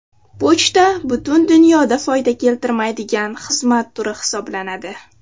Pochta butun dunyoda foyda keltirmaydigan xizmat turi hisoblanadi.